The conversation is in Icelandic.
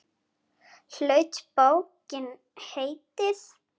Hlaut bókin heitið